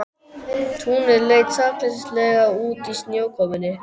Túnið leit sakleysislega út í snjókomunni.